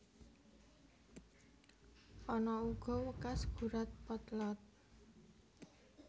Ana uga wekas gurat potlot